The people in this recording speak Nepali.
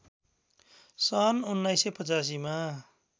सन् १९८५ मा